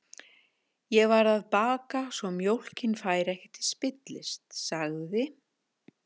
Ég varð að baka svo mjólkin færi ekki til spillis, sagði